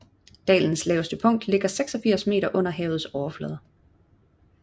Dalens laveste punkt ligger 86 m under havets overflade